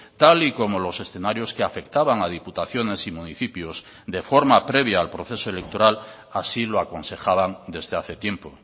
tal y como los escenarios que afectaban a diputaciones y municipios de forma previa al proceso electoral así lo aconsejaban desde hace tiempo